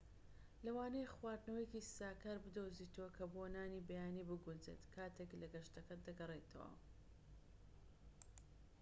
لەوانەیە خواردنەوەیەکی ساکار بدۆزیتەوە کە بۆ نانی بەیانی بگونجێت کاتێك لەگەشتەکەت دەگەڕێیتەوە